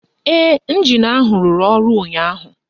Ee, ịnjin ahụ rụrụ ọrụ ụnyaahụ